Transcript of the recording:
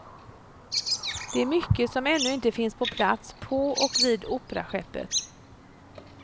Det är mycket som ännu inte finns på plats på och vid operaskeppet.